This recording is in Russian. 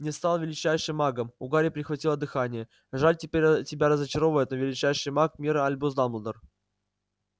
не стал величайшим магом у гарри перехватило дыхание жаль тебя разочаровывать но величайший маг мира альбус дамблдор